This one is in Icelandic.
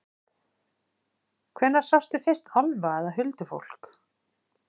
Hvenær sástu fyrst álfa eða huldufólk?